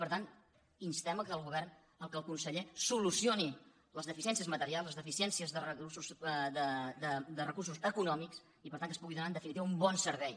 per tant instem que el govern que el conseller solucioni les deficiències materials les deficiències de recursos econòmics i per tant que es pugui donar en definitiva un bon servei